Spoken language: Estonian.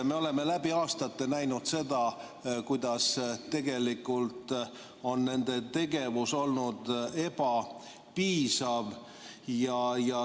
Me oleme läbi aastate näinud, kuidas tegelikult on nende tegevus olnud ebapiisav.